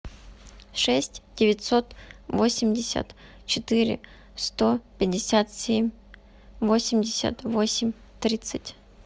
шесть девятьсот восемьдесят четыре сто пятьдесят семь восемьдесят восемь тридцать